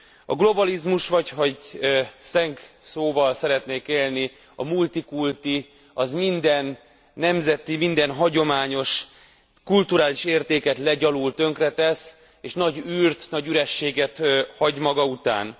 A globalizmus, vagy ha szlengszóval szeretnék élni, a multikulti, minden nemzeti, minden hagyományos kulturális értéket legyalul, tönkretesz, és nagy űrt, nagy ürességet hagy maga után.